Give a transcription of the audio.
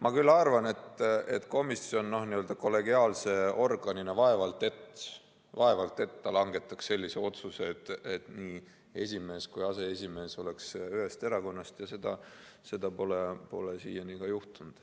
Ma küll arvan, et komisjon kollegiaalse organina vaevalt et langetaks sellise otsuse, et nii esimees kui ka aseesimees oleks ühest erakonnast, ja seda pole siiani ka juhtunud.